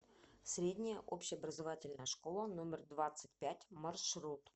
средняя общеобразовательная школа номер двадцать пять маршрут